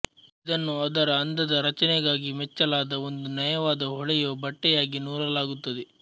ಇದನ್ನು ಅದರ ಅಂದದ ರಚನೆಗಾಗಿ ಮೆಚ್ಚಲಾದ ಒಂದು ನಯವಾದ ಹೊಳೆಯುವ ಬಟ್ಟೆಯಾಗಿ ನೂಲಲಾಗುತ್ತದೆ